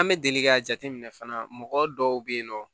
An bɛ deli k'a jateminɛ fana mɔgɔ dɔw bɛ yen nɔ